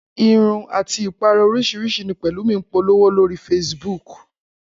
Irun àti ìpara oríṣiríṣi ni Pẹ̀lúmi ń polówó lórí Facebook